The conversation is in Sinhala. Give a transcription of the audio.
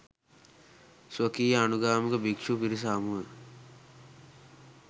ස්වකීය අනුගාමික භික්‍ෂු පිරිස හමුවේ